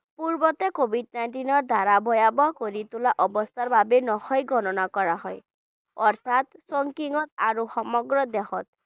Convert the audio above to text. পূৰ্বতে covid nineteen ৰ দ্বাৰা ভয়াৱহ কৰি তোলা অৱস্থাৰ বাবে নহয় গণনা কৰা হয় অৰ্থাৎ ত আৰু সমগ্ৰ দেশত